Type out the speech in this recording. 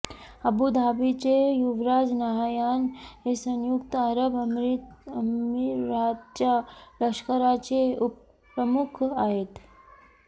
अबुधाबीचे युवराज नाहयान हे संयुक्त अरब अमिरातच्या लष्कराचे उपप्रमुख आहेत